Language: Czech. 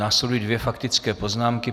Následují dvě faktické poznámky.